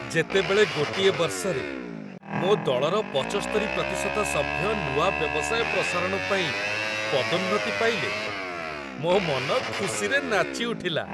ଯେତେବେଳେ ଗୋଟିଏ ବର୍ଷରେ ମୋ ଦଳର ପଚସ୍ତରି ପ୍ରତିଶତ ସଭ୍ୟ ନୂଆ ବ୍ୟବସାୟ ପ୍ରସାରଣ ପାଇଁ ପଦୋନ୍ନତି ପାଇଲେ, ମୋ ମନ ଖୁସିରେ ନାଚିଉଠିଲା।